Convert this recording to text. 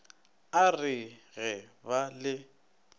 a re ge ba le